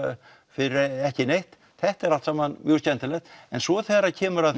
fyrir ekki neitt þetta er allt saman mjög skemmtilegt svo þegar kemur að